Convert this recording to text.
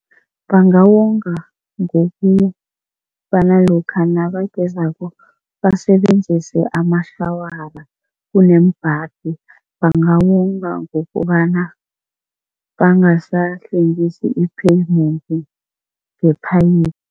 Bangawonga ngokubana lokha nabagezako basebenzise amashawara kuneembhadi. Bangawonga ngokobana bangasahlwengisi i-pavement nge-pipe.